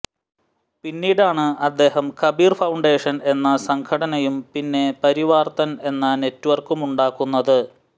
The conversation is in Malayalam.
പിന്നീടാണ് അദ്ദേഹം കബീർ ഫൌണ്ടേഷൻ എന്ന സംഘടനയും പിന്നെ പരിവാർത്തൻ എന്ന നെറ്റ്വർക്കുമുണ്ടാക്കുന്നത്